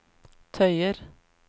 tøyer